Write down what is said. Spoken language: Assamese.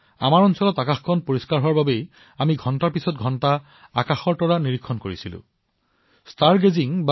মোৰ মনত আছে আমাৰ ঠাইটুকুৰাত আকাশ ফৰকাল হৈ থকাৰ পৰিপ্ৰেক্ষিতত আমি ঘণ্টাজুৰি আকাশলৈ চাই থাকিছিলো